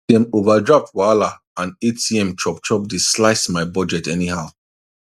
dem overdraft wahala and atm chopchop dey slice my budget anyhow